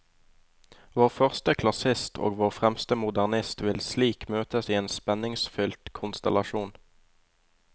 Vår første klassist og vår fremste modernist vil slik møtes i en spenningsfylt konstellasjon.